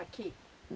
Aqui?